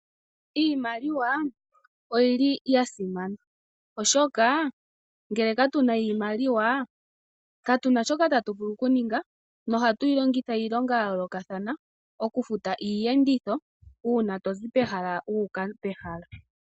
Iimaliwa oyili ya simana oshoka ngele katuna iimaliwa katuna shoka tatuvulu okuninga nohatu yi longitha iilonga ya yoolokathana, okufuta iiyenditho uuna tozi pehala limwe wu uka pehala .